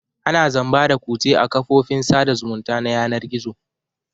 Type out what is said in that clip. Ana zamba da kutse a kafofin sada zumunta na yanar gizo.